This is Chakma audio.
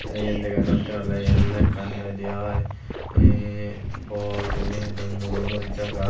te iyen dega jattey oley iyen oley ekkan hi hoidey oi um bor guriney hido muro muri jaga.